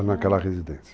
Já naquela residência.